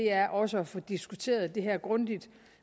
er også at få diskuteret det her grundigt